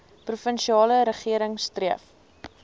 provinsiale regering streef